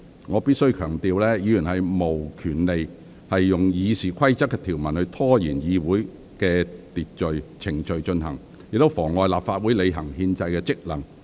我必須強調，議員無權利用《議事規則》的條文拖延會議程序，或妨礙立法會履行其憲制職能。